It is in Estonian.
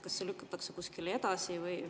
Kas see lükatakse kuskile edasi?